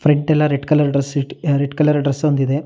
Red ಎಲ್ಲ red colour dress red colour dress ಒಂದಿದೆ.